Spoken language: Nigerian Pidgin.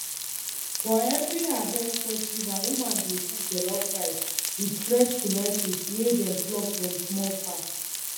for every harvest festival women dey cook jollof rice with fresh tomatoes wey dem plug from small farm